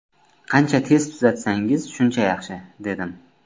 Qancha tez tuzatsangiz shuncha yaxshi”, dedim.